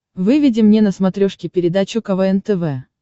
выведи мне на смотрешке передачу квн тв